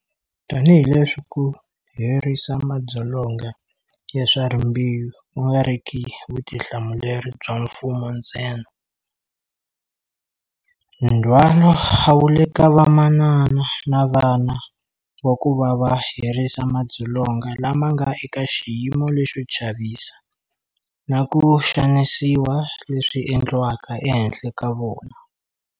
Tanihileswi ku herisa madzolonga ya swa rimbewu ku nga ri ki vutihlamuleri bya mfumo ntsena, ndhwalo a wu le ka vamanana na vana wa ku va va herisa madzolonga lama nga eka xiyimo lexo chavisa na ku xanisiwa leswi endliwaka ehenhla ka vona.